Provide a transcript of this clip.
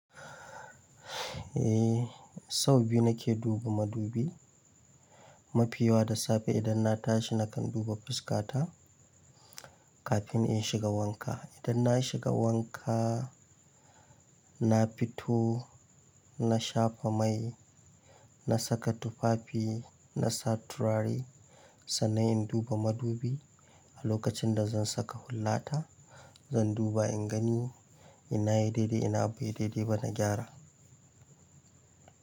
Eh, sau biyu nake duba madubi. Mafi yawa da safe idan na tashi nakan duba fuskata kafin in shiga wanka. Idan na shiga wanka, na fito, na shafa mai, na saka tufafi, na sa turare, sannan in duba madubi a lokacin da zan saka hullata. Zan duba in gani ina yi daidai ina bai daidai ba na gyara.